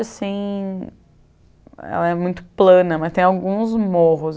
assim ela muito plana, mas tem alguns morros.